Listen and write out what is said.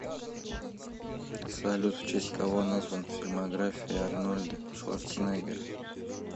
салют в честь кого назван фильмография арнольда шварценеггера